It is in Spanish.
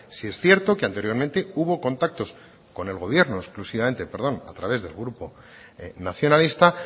sí es cierto que anteriormente hubo contactos con el gobierno exclusivamente perdón a través del grupo nacionalista